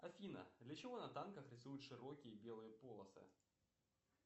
афина для чего на танках рисуют широкие белые полосы